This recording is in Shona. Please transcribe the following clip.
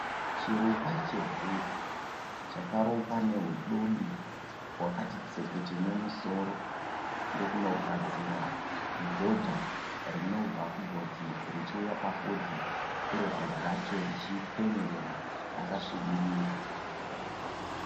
Chirukwa chevhudzi chakarukwa nehudobi hwakati tsepete nemusoro ndokunogadzira godha rinobva kugotsi richiuya pafudzi. Iro vhudzi racho richipenyerera rakasvibirira.